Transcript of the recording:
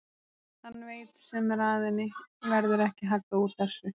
Hann veit sem er að henni verður ekki haggað úr þessu.